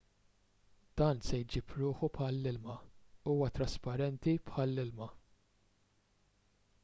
dan se jġib ruħu bħall-ilma huwa trasparenti bħall-ilma